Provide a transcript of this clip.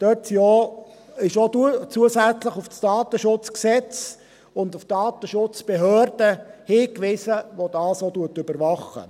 Dort wird auch zusätzlich auf das Datenschutzgesetz (KDSG) und auf die Datenschutzbehörde hingewiesen, die dies überwacht.